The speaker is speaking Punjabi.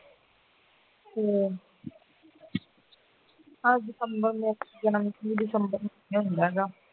ਆਹ december ਯਾਨੀ ਕਿ december ਮਹੀਨੇ ਹੁੰਦਾ ਹੈਗਾ